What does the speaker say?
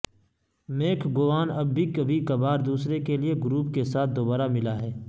make گوان اب بھی کبھی کبھار دورے کے لئے گروپ کے ساتھ دوبارہ ملا ہے